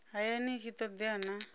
hayani i tshi todea na